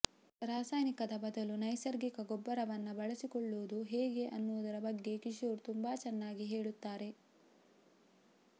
ರಾಸಾಯನಿಕದ ಬದಲು ನೈಸರ್ಗಿಕ ಗೊಬ್ಬರವನ್ನ ಬಳಸಿಕೊಳ್ಳೋದು ಹೇಗೆ ಅನ್ನೋದ್ರ ಬಗ್ಗೆ ಕಿಶೋರ್ ತುಂಬಾ ಚೆನ್ನಾಗಿ ಹೇಳುತ್ತಾರೆ